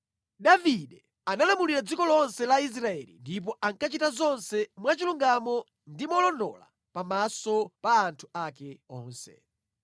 Davide analamulira dziko lonse la Israeli ndipo ankachita zonse mwachilungamo ndi molondola pamaso pa anthu ake onse.